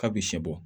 K'a bɛ sɛ bɔ